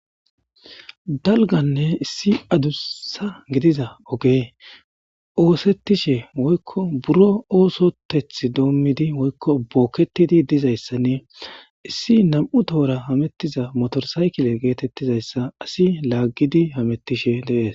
dalganne issi adussa gidiza oge oosettishe woykko buro oosoteth doommidi woykko bookketidi dizayssanne issi nam7u tohora hamettiza motorsaykile geetettizayssa asi laaggidi hamettishe dees